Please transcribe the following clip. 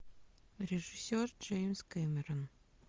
режиссер джеймс кэмерон